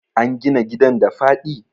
an gina gidan da faɗi?